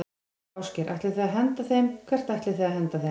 Ásgeir: Ætlið þið að henda þeim, hvert ætlið þið að henda þeim?